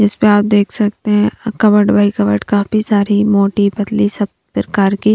इससे आप देख सकते हैं कबड बाय कबड का काफी सारी मोटी पतली सब प्रकार की--